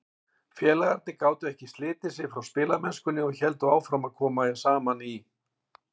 Félagarnir gátu þó ekki slitið sig frá spilamennskunni og héldu áfram að koma saman í